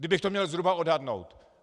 Kdybych to mě zhruba odhadnout.